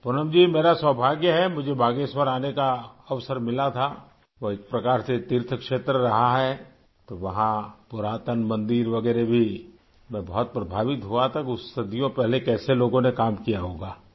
پونم جی میری خوش قسمتی ہے مجھے باگیشور آنے کا موقع ملا تھا وہ ایک طرح سے تیرتھ کا علاقہ رہا ہے وہاں قدیم مندر وغیرہ بھی ہیں، میں بہت متاثر ہوا تھا صدیوں پہلے کیسے لوگوں نے کام کیا ہوگا